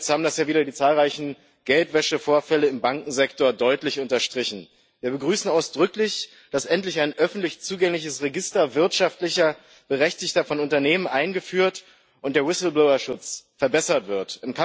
Zuletzt haben das die zahlreichen Geldwäschevorfälle im Bankensektor wieder deutlich unterstrichen. Wir begrüßen ausdrücklich, dass endlich ein öffentlich zugängliches Register wirtschaftlich Berechtigter von Unternehmen eingeführt und der Whistleblowerschutz verbessert wird.